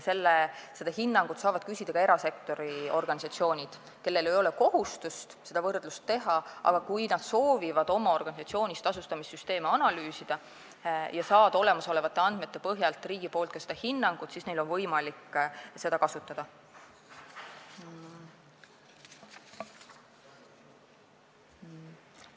Seda hinnangut saavad küsida ka erasektori organisatsioonid, kellel ei ole kohustust seda võrdlust teha, aga kui nad soovivad oma organisatsioonis tasustamissüsteeme analüüsida ja saada olemasolevate andmete põhjal riigi hinnangut, siis on neil võimalik seda kasutada.